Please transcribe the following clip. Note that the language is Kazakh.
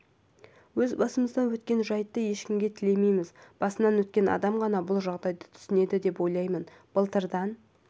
өз басымыздан өткен жайтты ешкімге тілемейміз басынан өткен адам ғана бұл жағдайды түсінеді деп ойлаймын былтырдан